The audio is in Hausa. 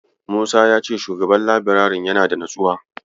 Musa ya ce Shugaban labirarin yana da natsuwa.